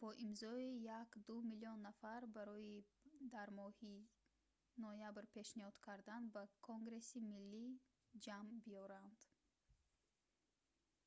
бо имзои 1,2 миллион нафар барои дар моҳи ноябр пешниҳод кардан ба конгресси миллӣ ҷамъ биёранд